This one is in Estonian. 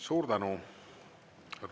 Suur tänu!